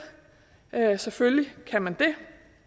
bære tørklæde selvfølgelig kan man det